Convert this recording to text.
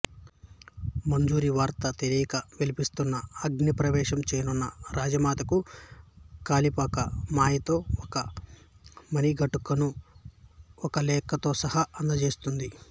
మంజరి వార్త తెలియక విలపిస్తున్న అగ్నిప్రవేశం చేయనున్న రాజమాతకు కాపాలిక మాయతో ఒక మణిఘంటికను ఒక లేఖతో సహా అందజేస్తుంది